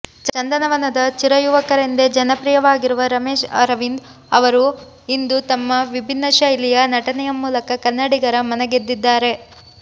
ಚಂದನವನದ ಚಿರಯುವಕರೆಂದೇ ಜನಪ್ರಿಯವಾಗಿರುವ ರಮೇಶ್ ಅರವಿಂದ್ ರವರು ಇಂದು ತಮ್ಮ ವಿಭಿನ್ನ ಶೈಲಿಯ ನಟನೆಯ ಮೂಲಕ ಕನ್ನಡಿಗರ ಮನಗೆದಿದ್ದಾರೆ